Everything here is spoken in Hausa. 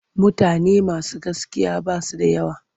Mutane masu gaskiya ba su da yawa.